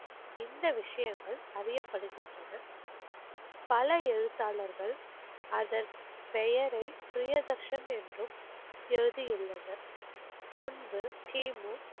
இந்த விஷயங்கள் அறியப்படுகின்றன. பல எழுத்தாளர்கள் அதன் பெயரை ப்ரியதர்ஷன் என்றும் எழுதியுள்ளனர். முன்பு கிமு,